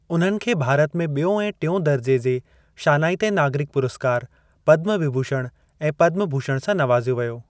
उन्हनि खे भारत में ॿियों ऐं टियों दरिजे जे शानाइते नागरिक पुरस्कार पद्म विभूषण ऐ पद्म भूषण सां नवाज़ियो वियो।